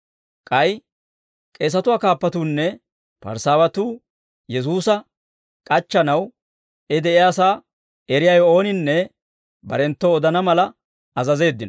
K'ay k'eesatuwaa kaappatuunne Parisaawatuu Yesuusa k'achchanaw, I de'iyaasaa eriyaawe ooninne barenttoo odana mala azazeeddino.